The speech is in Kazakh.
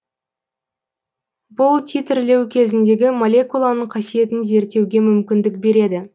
бұл титрлеу кезіндегі молекуланың қасиетін зерттеуге мүмкіндік береді